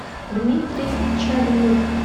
дмитрий черных